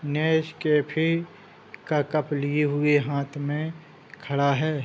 Nescafe का cup लिए हुए हाथ में खड़ा हैं।